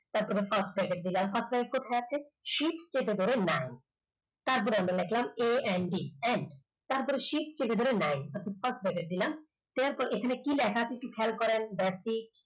তারপরে first bracket দিলাম first bracket কোথায় আছে shift টিপে ধরে nine তারপরে আমরা লিখলাম a n d and তারপরে shift টিপে ধরে nine first bracket দিলাম তারপর এখানে কি লেখা আছে একটু খেয়াল করেন basic